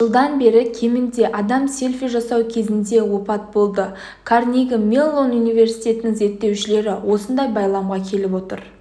жылдан бері кемінде адам селфи жасау кезінде опат болды карнеги-меллон университетінің зертеушілері осындай байламға келіп отыр